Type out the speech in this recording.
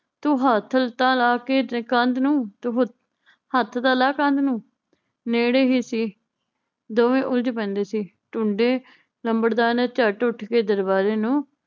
ਤੂੰ ਹੱਥ ਤਾਂ ਲਾ ਕੇ ਦੇਖ ਕੰਧ ਨੂੰ ਤੂੰ ਹ ਹੱਥ ਤਾਂ ਲਾ ਕੰਧ ਨੂੰ ਨੇੜੇ ਹੀ ਸੀ ਦੋਵੇਂ ਉਲਝ ਪੈਂਦੇ ਸੀ ਝੂੰਡੇ ਲੰਬੜਦਾਰ ਨੇ ਝੱਟ ਉੱਠ ਕੇ ਦਰਬਾਰੇ ਨੂੰ